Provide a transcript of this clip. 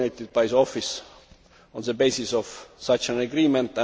by the Office on the basis of such an agreement.